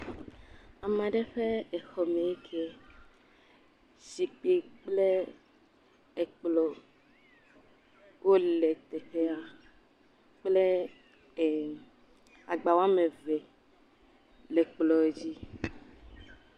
ameɖe ƒe exɔme nkie zikpi kple ekplɔ̃ wóle teƒea kple agba woameve le kplɔ dzí